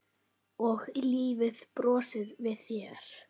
Og lífið brosir við þér!